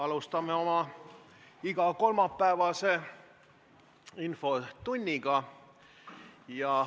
Alustame oma igakolmapäevast infotundi.